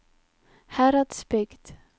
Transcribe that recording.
Heradsbygd